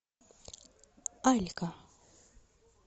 алька